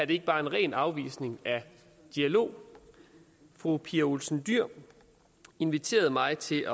ikke bare en ren afvisning af dialog fru pia olsen dyhr inviterede mig til at